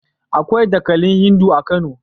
Akwai dakalin Hindu a Kano.